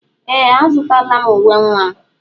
Ee! Azụtala m uwe nwa.